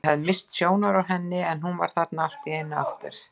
Ég hafði misst sjónar á henni en nú var hún þarna allt í einu aftur.